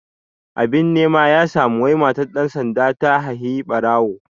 Abin nema ya samu wai matar ɗan sanda ta haihi ɓarawo